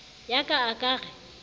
ya ka a ka re